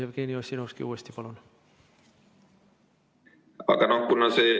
Jevgeni Ossinovski uuesti, palun!